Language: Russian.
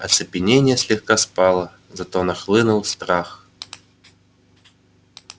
оцепенение слегка спало зато нахлынул страх